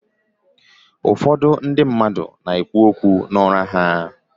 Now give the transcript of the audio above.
Ụfọdụ ndị mmadụ na-ekwu okwu n’ụra ha